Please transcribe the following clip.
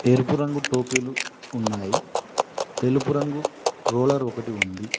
ఎరుపు రంగు టోపీలు ఉన్నాయి తెలుపు రంగు రోలర్ ఒకటి ఉంది.